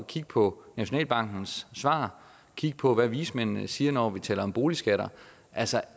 kigge på nationalbankens svar og kigge på hvad vismændene siger når vi taler om boligskatter altså